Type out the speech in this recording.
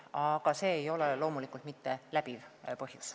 Aga see ei ole loomulikult läbiv põhjus.